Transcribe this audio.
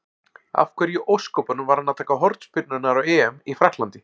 Af hverju í ósköpunum var hann að taka hornspyrnurnar á EM í Frakklandi?